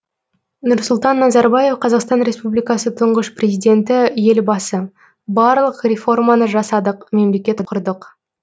нұрсұлтан назарбаев қазақстан республикасы тұңғыш президенті елбасы барлық реформаны жасадық мемлекет құрдық